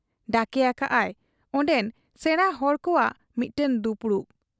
ᱰᱟᱠᱮ ᱟᱠᱟᱜ ᱟᱭ ᱚᱱᱰᱮᱱ ᱥᱮᱬᱟ ᱦᱚᱲ ᱠᱚᱣᱟᱜ ᱢᱤᱫᱴᱟᱹᱝ ᱫᱩᱯᱩᱲᱩᱵ ᱾